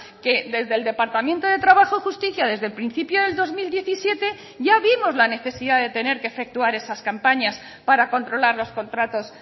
que desde el departamento de trabajo y justicia desde el principio del dos mil diecisiete ya vimos la necesidad de tener que efectuar esas campañas para controlar los contratos